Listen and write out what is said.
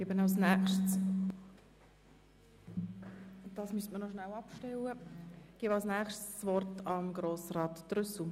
Ich erteile das Wort noch einmal dem Antragssteller Grossrat Trüssel.